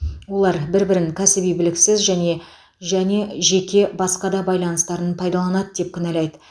олар бір бірін кәсіби біліксіз және және жеке басқа да байланыстарын пайдаланады деп кінәлайды